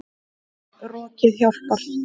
Rokið hjálpar.